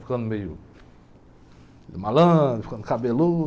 Ficando meio, meio malandro, ficando cabeludo.